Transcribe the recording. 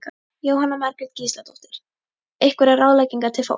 Jóhanna Margrét Gísladóttir: Einhverjar ráðleggingar til fólks?